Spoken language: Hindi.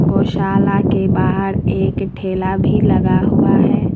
गौशाला के बाहर एक ठेला भी लगा हुआ है।